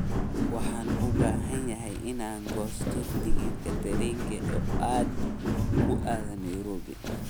waxaan u baahanahay inaan goosto tigidh tareen oo aad ku aado nairobi